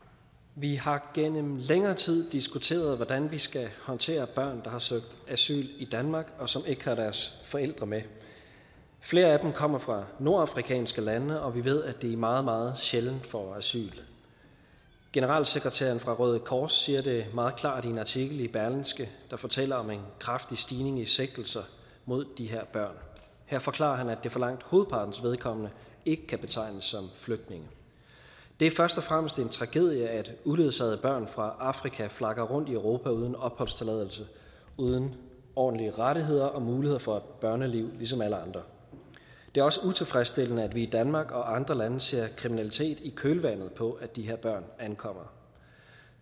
vi har gennem længere tid diskuteret hvordan vi skal håndtere børn der har søgt asyl i danmark og som ikke har deres forældre med flere af dem kommer fra nordafrikanske lande og vi ved at de meget meget sjældent får asyl generalsekretæren fra røde kors siger det meget klart i en artikel i berlingske der fortæller om en kraftig stigning i sigtelser mod de her børn her forklarer han at det for langt hovedpartens vedkommende ikke kan betegnes som flygtninge det er først og fremmest en tragedie at uledsagede børn fra afrika flakker rundt i europa uden opholdstilladelse uden ordentlige rettigheder og muligheder for et børneliv som alle andre det er også utilfredsstillende at vi i danmark og andre lande ser kriminalitet i kølvandet på at de her børn ankommer